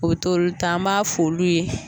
Obe t'olu ta an b'a f'olu ye